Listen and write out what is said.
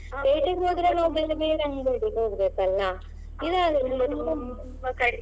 ಪೇಟೆಗೆ ಹೋದ್ರೆ ನಾವ್ ಬೇರೆ ಬೇರೆ ಅಂಗಡಿಗೆ ಹೋಗ್ಬೇಕಲ್ಲಾ ಇದ್ ಆದ್ರೆ.